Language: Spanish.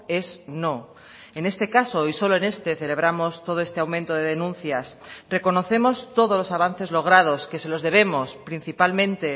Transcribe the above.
es no en este caso y solo en este celebramos todo este aumento de denuncias reconocemos todos los avances logrados que se los debemos principalmente